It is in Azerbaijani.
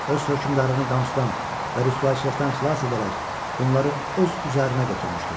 Öz hökmdarını qamsıdan və rüsvayçılıqdan xilas edərək bunları öz üzərinə götürmüşdü.